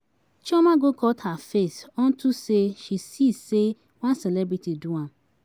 Chioma go cut her face unto say she see say one celebrity do am.